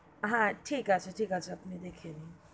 হা ঠিক আছে, ঠিক আছে আপনি দেখে নিন.